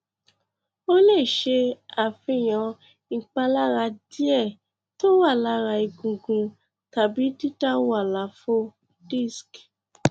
ó lè ṣe àfihàn ìpalára díẹ tó wà lára egungun tàbídídàwó àlàfo disc